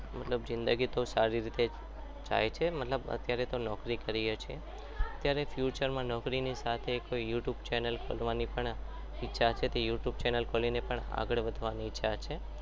મતલબ જિંદગી તો સારી રીતે જાય છે મતલબ અત્યારે તો નોકરી કરીએ છીએ જ્યારે future માં નોકરીની સાથે youtube ચેનલ ખોલવાની ઈચ્છા છે કોઈ youtube chanel ખોલી આગળ વધવાની ઈચ્છા છે